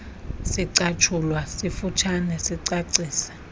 sicatshulwa sifutshane sicacisa